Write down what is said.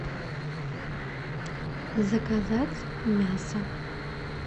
заказать мясо